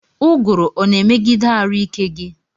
Ụguru ọna emegide arụ ike gi?